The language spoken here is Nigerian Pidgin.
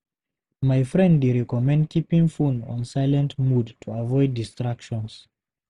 My friend dey recommend keeping phone on silent mode to avoid distractions.